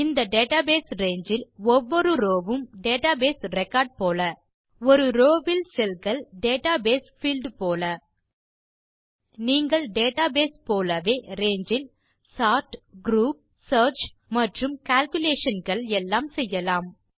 இந்த database range இல் ஒவ்வொரு ரோவ் வும் டேட்டாபேஸ் ரெக்கார்ட் போல ஒரு ரோவ் வில் செல் கள் டேட்டாபேஸ் பீல்ட் போல நீங்கள் டேட்டாபேஸ் போலவே ரங்கே இல் சோர்ட் குரூப் சியர்ச் மற்றும் கேல்குலேஷன்ஸ் எல்லாம் செய்யலாம்